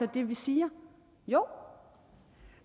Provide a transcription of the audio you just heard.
det vi siger jo